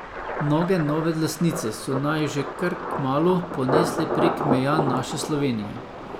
Noge nove lastnice so naju že kar kmalu ponesle prek meja naše Slovenije.